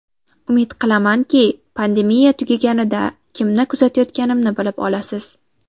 Umid qilamanki, pandemiya tugaganida kimni kuzatayotganimni bilib olasiz.